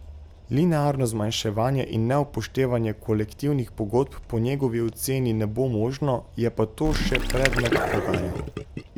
Linearno zmanjševanje in neupoštevanje kolektivnih pogodb po njegovi oceni ne bo možno, je pa to še predmet pogajanj.